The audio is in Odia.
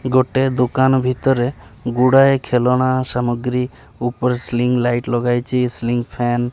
ଗୋଟେ ଦୁକାନ ଭିତରେ ଗୁଡାଏ ଲେଖନା ସାମଗ୍ରୀ ଉପରେ ସ୍ଲିଙ୍ଗି ଲାଇଟ୍ ଲଗାଯାଇଚି ସ୍ଲିଙ୍ଗି ଫ୍ୟାନ୍ --